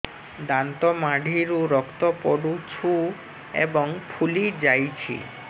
ଦାନ୍ତ ମାଢ଼ିରୁ ରକ୍ତ ପଡୁଛୁ ଏବଂ ଫୁଲି ଯାଇଛି